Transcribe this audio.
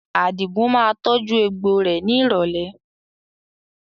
Àdigun máa tọju egbò rẹ ni ìrọ̀lẹ́